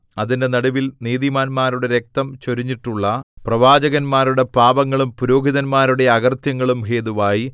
അതിന്റെ നടുവിൽ നീതിമാന്മാരുടെ രക്തം ചൊരിഞ്ഞിട്ടുള്ള പ്രവാചകന്മാരുടെ പാപങ്ങളും പുരോഹിതന്മാരുടെ അകൃത്യങ്ങളും ഹേതുവായി